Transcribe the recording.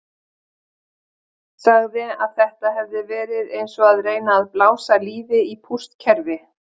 Sagði að þetta hefði verið eins og að reyna að blása lífi í pústkerfi.